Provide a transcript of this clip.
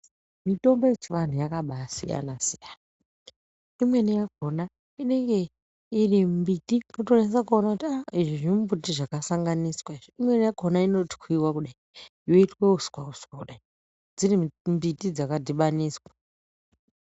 Mitombo yechivanhu yakabasiyana siyana imweni yakona inenge iri mbiti wotonasa kuona kuti izvi zvimumbuti zvakasanganiswa izvi imweni yakona inotwiwa kudayi yoitwa uswa uswa kudayi dziri mbiti dzakadhibaniswa.